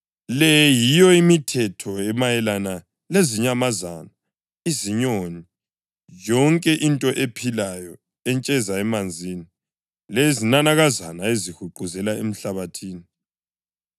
Le yiyo imithetho emayelana lezinyamazana, izinyoni, yonke into ephilayo entsheza emanzini lezinanakazana ezihuquzela emhlabathini.